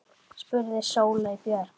spurði Sóley Björk.